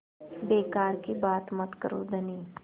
बेकार की बात मत करो धनी